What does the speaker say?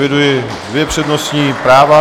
Eviduji dvě přednostní práva.